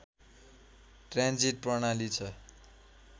transit प्रणाली छ